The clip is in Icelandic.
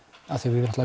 af því að við